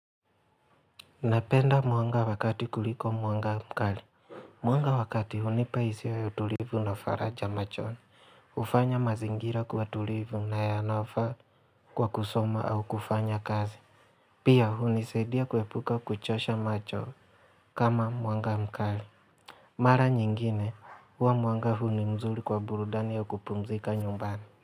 Napenda mwanga wa kati kuliko mwanga mkali Mwanga wa kati hunipa hisia ya utulivu na faraja machoni hufanya mazingira kuwa tulivu na yanaofaa kwa kusoma au kufanya kazi Pia hunisadia kuhepuka kuchosha macho kama mwanga mkali Mara nyingine huwa mwanga huu ni mzuri kwa burudani ya kupumzika nyumbani.